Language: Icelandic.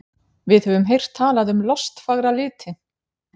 Við höfum heyrt talað um lostfagra liti.